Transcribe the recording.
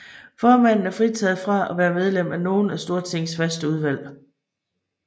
Formanden er fritaget fra at være medlem af nogen af Stortingets faste udvalg